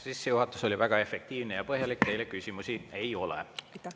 Sissejuhatus oli väga efektiivne ja põhjalik, teile küsimusi ei ole.